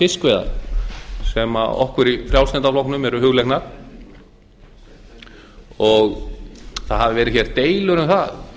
fiskveiðar sem okkur í frjálslynda flokknum eru hugleiknar það hafa verið deilur um það